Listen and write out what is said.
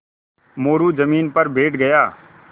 मोरू ज़मीन पर बैठ गया